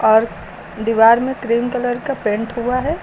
और दीवार में क्रीम कलर का पेंट हुआ है।